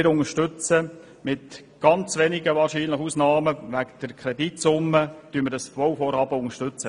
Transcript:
Wir unterstützen dieses Bauvorhaben mit ganz wenigen Ausnahmen, die es wegen der Kreditsumme geben wird.